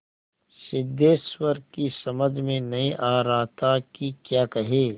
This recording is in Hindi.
सिद्धेश्वर की समझ में नहीं आ रहा था कि क्या कहे